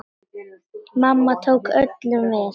Mamma tók öllum vel.